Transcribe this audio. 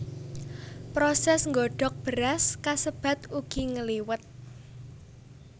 Prosés nggodhog beras kasebat ugi ngliwet